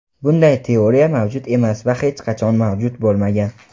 Bunday teoriya mavjud emas va hech qachon mavjud bo‘lmagan.